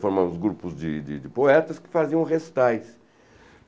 formamos grupos de de de poetas que faziam recitais.